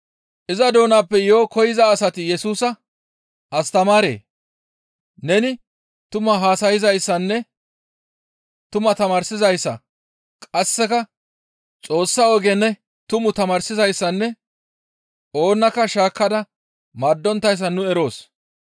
Iza doonappe yo7o koyza asati Yesusa, «Astamaaree! Neni tumaa haasayzayssanne tumaa tamaarsizayssa; qasseka Xoossa oge ne tumu tamaarsizayssanne oonakka shaakka maaddonttayssa nu eroos.